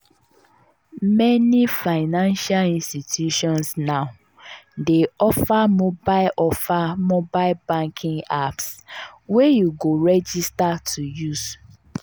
meni financial institutions now dey offer mobile offer mobile banking apps wey you go register to use.